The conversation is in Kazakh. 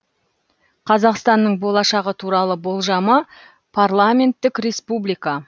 қазақстанның болашағы туралы болжамы парламенттік республика